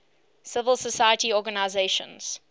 civil society organizations